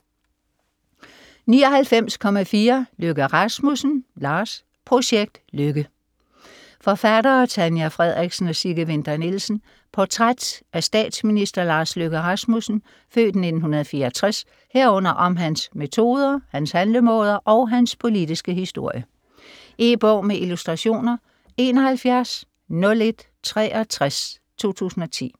99.4 Løkke Rasmussen, Lars Projekt Løkke Forfattere: Tanja Frederiksen og Sigge Winther Nielsen Portræt af statsminister Lars Løkke Rasmussen (f. 1964), herunder om hans metoder, hans handlemåder og hans politiske historie. E-bog med illustrationer 710163 2010.